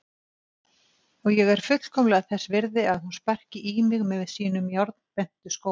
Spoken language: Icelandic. Og ég er fullkomlega þess virði að hún sparki í mig með sínum járnbentu skóm.